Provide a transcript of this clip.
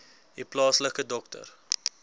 u plaaslike dokter